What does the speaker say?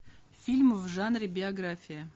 фильм в жанре биография